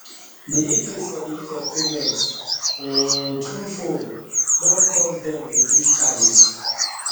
de increase for de use of payment um through phone don cause dem reduce charges